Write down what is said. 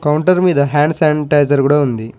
Counter మీద hands sanitizer కూడా ఉంది.